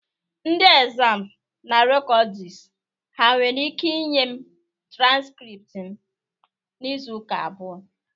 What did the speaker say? Ndị ekzamz na rekọdus ha nwere ike inye m transkript m n'Izuụka abụọ?